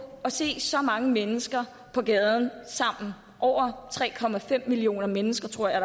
at se så mange mennesker på gaden sammen over tre millioner mennesker tror jeg